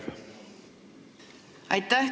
Aitäh!